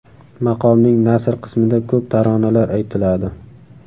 Maqomning nasr qismida ko‘p taronalar aytiladi.